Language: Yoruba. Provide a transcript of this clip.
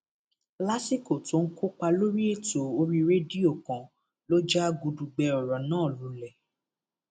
lásìkò tó ń kópa lórí ètò orí rédíò kan ló já gudugbẹ ọrọ náà lulẹ